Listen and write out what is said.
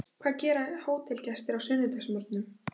Hvað gera hótelgestir á sunnudagsmorgnum?